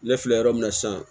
Ne filɛ yɔrɔ min na sisan